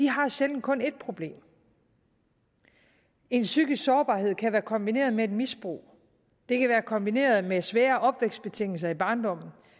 har sjældent kun et problem en psykisk sårbarhed kan være kombineret med et misbrug det kan være kombineret med svære opvækstbetingelser i barndommen